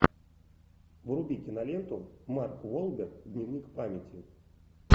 вруби киноленту марк уолберг дневник памяти